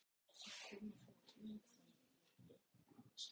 Snýr sér svo frá henni og fer fram á ganginn.